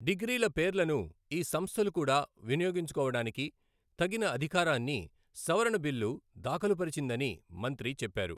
డిగ్రీల పేర్లను ఈ సంస్థలు కూడా వినియోగించుకోవడానికి తగిన అధికారాన్ని సవరణ బిల్లు దాఖలు పరిచిందని మంత్రి చెప్పారు.